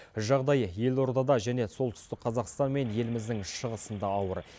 жағдай елордада және солтүстік қазақстан мен еліміздің шығысында ауыр